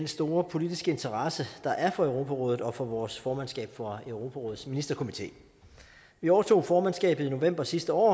store politiske interesse der er for europarådet og for vores formandskab for europarådets ministerkomité vi overtog formandskabet i november sidste år